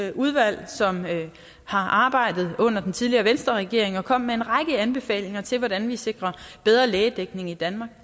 det udvalg som har arbejdet under den tidligere venstreregering og kom med en række anbefalinger til hvordan vi sikrer bedre lægedækning i danmark